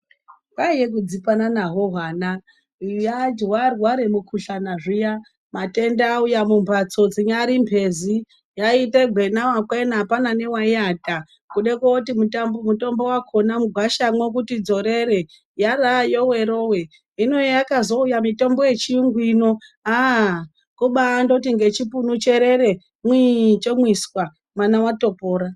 Kwaiye kudzipana nahwo hwana hwarwara mukuhlana zviya matenda auya mumbatso dzinyari mbezi yaiita gwena wakwena hapana newayiata kudekoti mutombo wakona mugwasha kuti dzorere yaraaya yowe yowe hino hayakazouya mitombo yechiyungu ino haa kubandoti nechipunu cherere mwii chomwiswa mwana watopora.